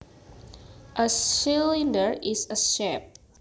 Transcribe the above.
A cylinder is a shape